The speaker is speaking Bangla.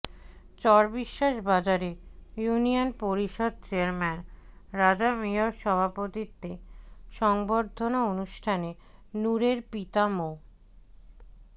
চরবিশ্বাস বাজারে ইউনিয়ন পরিষদ চেয়ারম্যান রাজা মিয়ার সভাপতিত্বে সংবর্ধনা অনুষ্ঠানে নুরের পিতা মো